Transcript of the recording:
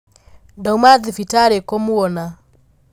Ndauma thibitarĩkũmuona.